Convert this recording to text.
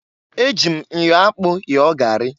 E ji m myo akpụ yọọ gari.